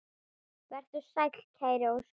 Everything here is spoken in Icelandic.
Vertu sæll, kæri Óskar.